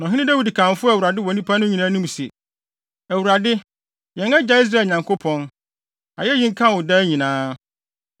Na ɔhene Dawid kamfoo Awurade wɔ nnipa no nyinaa anim se, “ Awurade, yɛn agya Israel Nyankopɔn, ayeyi nka wo daa nyinaa.